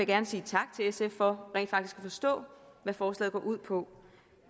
gerne sige tak til sf for rent faktisk at forstå hvad forslaget går ud på